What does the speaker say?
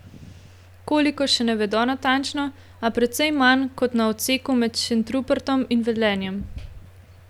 Koliko, še ne vedo natančno, a precej manj kot na odseku med Šentrupertom in Velenjem.